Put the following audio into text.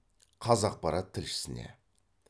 қазақпарат тілшісіне